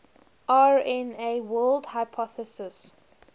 rna world hypothesis